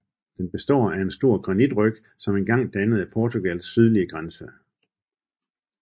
Den består af en stor granitryg som en gang dannede Portugals sydlige grænse